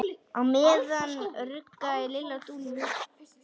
Á meðan ruggaði Lilla Dúllu.